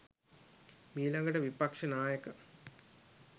මීලඟට විපක්‍ෂනායක